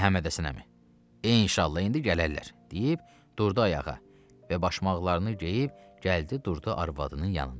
Məhəmmədhəsən əmi, inşallah indi gələrlər deyib durdu ayağa və başmaqlarını geyib gəldi durdu arvadının yanında.